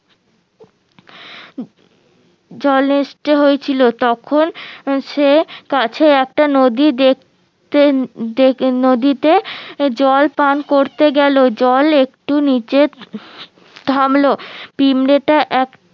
হয়েছিল তখন সে কাছে একটা নদী দেখতে নদীতে জল পান করতে গেলো জল একটু নিচে থামলো পিমড়েটা এক